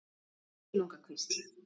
Silungakvísl